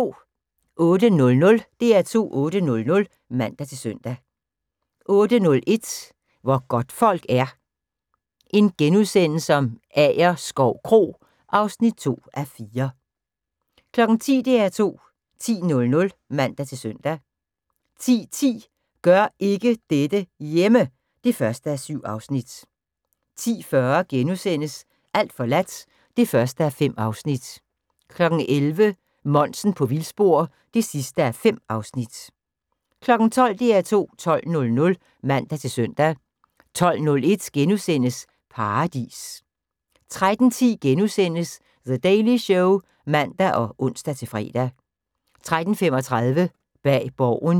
08:00: DR2 8:00 (man-søn) 08:01: Hvor godtfolk er - Agerskov Kro (2:4)* 10:00: DR2 10.00 (man-søn) 10:10: Gør ikke dette hjemme! (1:7) 10:40: Alt forladt (1:5)* 11:00: Monsen på vildspor (5:5) 12:00: DR2 12.00 (man-søn) 12:01: Paradis * 13:10: The Daily Show *(man og ons-fre) 13:35: Bag Borgen